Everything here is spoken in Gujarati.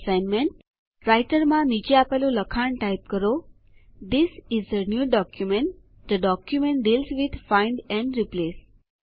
કમ્પ્રેહેન્સીવે અસાઇનમેન્ટ રાઈટરમાં નીચે આપેલું લખાણ ટાઈપ કરો થિસ ઇસ એ ન્યૂ documentથે document deals with find and replace